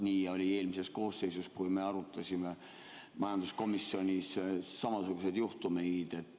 Nii juhtus eelmises koosseisus, kui me arutasime majanduskomisjonis samasuguseid juhtumeid.